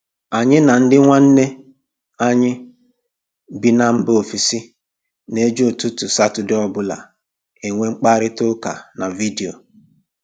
Anyị na ndị nwanne anyị bị mba ofesi na-eji ụtụtụ Satọde ọbụla enwe mkparịta ụka na vidio